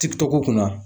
Ti tɔgɔ kunna